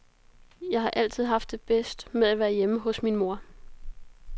Jeg har altid haft det bedst med at være hjemme hos min mor.